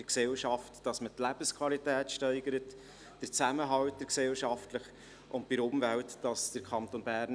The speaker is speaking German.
Bei der Gesellschaft sollen die Lebensqualität sowie der gesellschaftliche Zusammenhalt gesteigert werden.